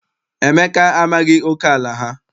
Emeka amaghị oke ala ha.